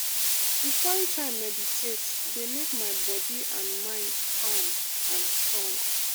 to find time meditate dey make my body and mind calm and strong.